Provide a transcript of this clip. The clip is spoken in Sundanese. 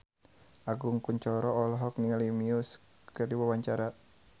Agus Kuncoro olohok ningali Muse keur diwawancara